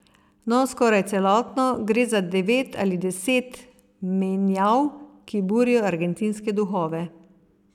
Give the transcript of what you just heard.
No, skoraj celotno, gre za devet ali celo deset menjav, ki burijo argentinske duhove.